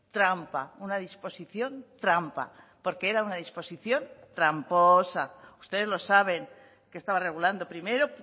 trampa una disposición trampa porque era una disposición tramposa ustedes lo saben qué estaba regulando primero